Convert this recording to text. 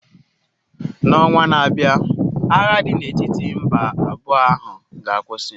N'ọnwa na-abịa agha dị n'etiti mba abụọ ahụ ga-akwụsị.